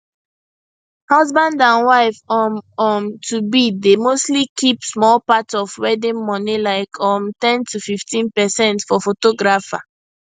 husband and wife um um tobe dey mostly keep small part of wedding money like um ten to 15 percent for photographer